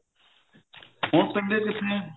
ਹੁਣ ਪੀਂਦੇ ਕਿੱਥੇ ਐ